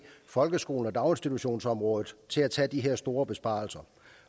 folkeskolen og daginstitutionsområdet til at tage de her store besparelser